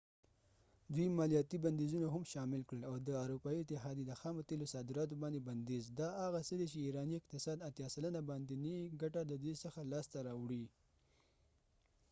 دوي مالیاتی بنديزونه هم شامل کړل او د اروپایې اتحاديی د خامو تیلو صادراتو باندي بنديز دا هغه څه دي چې ایرانی اقتصاد 80 سلنه باندينی ګټه ددې څخه لاس ته راوړی